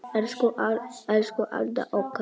Elsku Alda okkar.